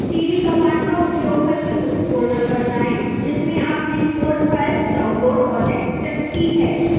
cd command का उपयोग करके उस folder पर जाएं जिसमें आपने code files downloaded और एक्स्टैक्ट की है